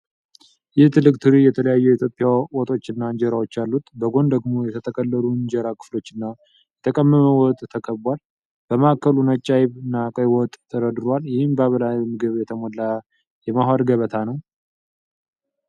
ይህ ትልቅ ትሪ የተለያዩ የኢትዮጵያ ወጦችና እንጀራዎች አሉት። በጎን ደግሞ የተጠቀለሉ የእንጀራ ክፍሎች እና የተቀመመ ወጥ ተከቧል። በማዕከሉ ነጭ አይብ (አይብ) እና ቀይ ወጥ (ክክ) ተደርድሯል። ይህ በባህላዊ ምግብ የተሞላ የመዋሃድ ገበታ ነው።